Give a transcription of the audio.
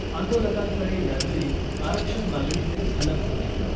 आंदोलकांकडे यावेळी आरक्षण मागणीचे फलक होते .